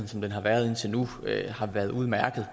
som den har været indtil nu har været udmærket